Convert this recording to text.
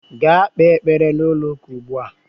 Gaa kpee ekpere n'ụlọụka ugbu a!